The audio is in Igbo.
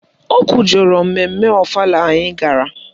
O kwujọrọ mmemme ọfala anyị gara